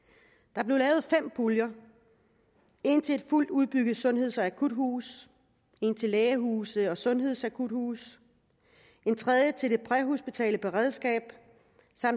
der blev lavet puljer en til et fuldt udbygget sundheds og akuthus en til lægehuse og sundhedsakuthuse en til det præhospitale beredskab